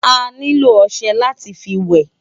Ániló òṣè láti fi wè